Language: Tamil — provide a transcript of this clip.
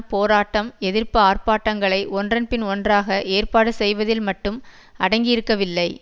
போராட்டம் எதிர்ப்பு ஆர்ப்பாட்டங்களை ஒன்றன்பின் ஒன்றாக ஏற்பாடு செய்வதில் மட்டும் அடங்கியிருக்கவில்லை